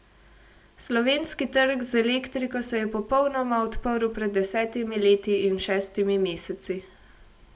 Slovenski trg z elektriko se je popolnoma odprl pred desetimi leti in šestimi meseci.